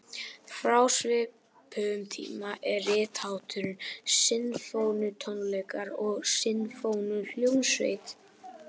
Frá svipuðum tíma er rithátturinn sinfóníutónleikar og sinfóníuhljómsveit.